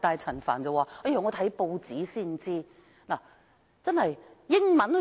陳帆卻說，他看報紙才知道事件。